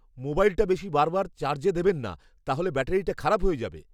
মোবাইলটা বেশি বার বার চার্জ দেবেন না নাহলে ব্যাটারিটা খারাপ হয়ে যাবে।